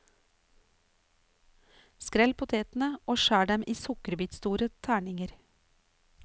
Skrell potetene og skjær dem i sukkerbitstore terninger.